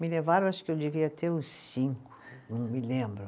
Me levaram, acho que eu devia ter uns cinco, não me lembro.